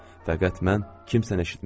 Fəqət mən kimsəni eşitmirdim.